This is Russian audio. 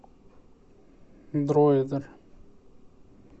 дроидер